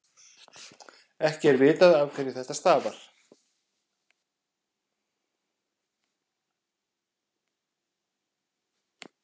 ekki er vitað afhverju þetta stafar